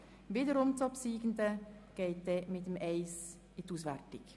Die obsiegende Ziffer wird dann der Ziffer 1 gegenübergestellt.